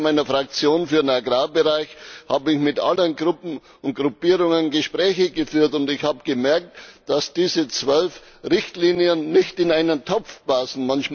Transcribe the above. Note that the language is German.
Als Sprecher meiner Fraktion für den Agrarbereich habe ich mit allen Gruppen und Gruppierungen Gespräche geführt, und ich habe gemerkt, dass diese zwölf Richtlinien nicht in einen Topf passen.